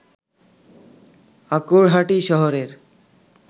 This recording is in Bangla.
আঁকুড়হাটি শহরের